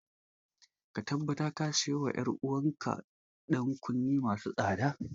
Ka tabbatar ka siyo wa ‘yar’uwar ka ‘yan kunne masu tsada.